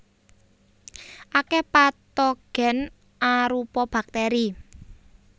Akèh patogen arupa bakteri